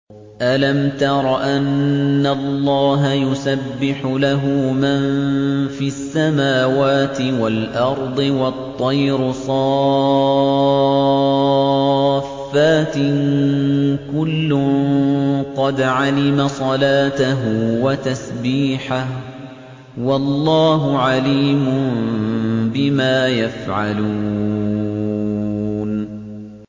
أَلَمْ تَرَ أَنَّ اللَّهَ يُسَبِّحُ لَهُ مَن فِي السَّمَاوَاتِ وَالْأَرْضِ وَالطَّيْرُ صَافَّاتٍ ۖ كُلٌّ قَدْ عَلِمَ صَلَاتَهُ وَتَسْبِيحَهُ ۗ وَاللَّهُ عَلِيمٌ بِمَا يَفْعَلُونَ